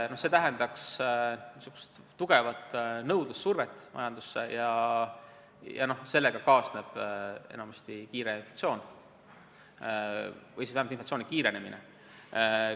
See tähendaks tugevat nõudlussurvet majandusele ja sellega kaasneb enamasti kiire inflatsioon või inflatsiooni kiirenemine.